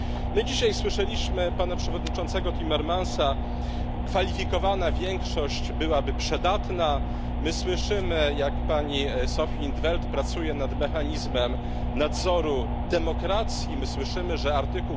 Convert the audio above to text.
My dzisiaj słyszeliśmy pana przewodniczącego Timmermansa kwalifikowana większość byłaby przydatna, my słyszymy jak pani Sophia in 't Veld pracuje nad mechanizmem nadzoru demokracji, my słyszymy, że art.